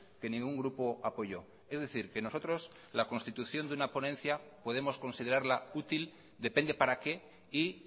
que ningún grupo apoyó es decir que nosotros la constitución de una ponencia podemos considerarla útil depende para qué y